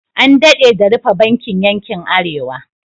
An daɗe da rufe bankin yankin Arewa.